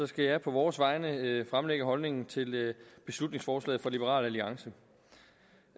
skal jeg på vores vegne fremlægge holdningen til beslutningsforslaget fra liberal alliance